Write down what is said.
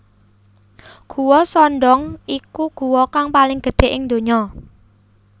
Guwa Son Doong iku guwa kang paling gedhe ing ndonya